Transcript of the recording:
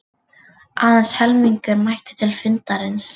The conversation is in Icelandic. Aðeins helmingur mætti til fundarins